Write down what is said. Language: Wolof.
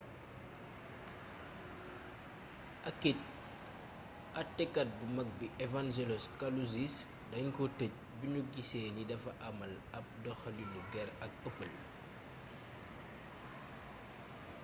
akit atekat bu mag bi evangelos kalousis dañ ko tëj biñu gisee ni dafa amal ab doxaliinu gér ak ëppël